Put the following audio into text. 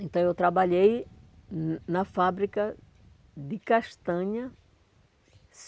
Então eu trabalhei hum na fábrica de castanha.